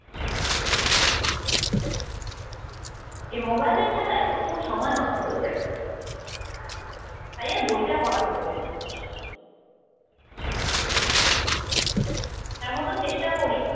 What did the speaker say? এই মোবাইলের ঠেলাই প্রচুর সময় নষ্ট হয়ে যাই। তাই এই বইটা পড়া হয়ে ওঠে না। তার মধ্যেও চেষ্টা করি